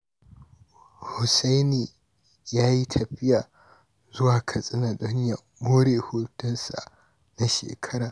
Hussaini ya yi tafiya zuwa Katsina don ya more hutunsa na shekara.